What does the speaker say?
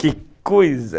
(surpresa) Que coisa!